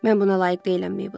Mən buna layiq deyiləm, Mabel.